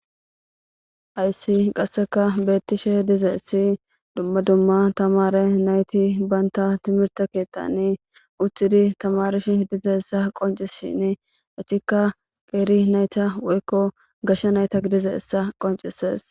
Haysi qasseka beettishe dizaessi dumma dumma tamare nayti banta timirta keettani uxidi tamarish dizeessa qoncishin ichikka qeeri nayta woykko gashsha nayta gidizehessa qoncises.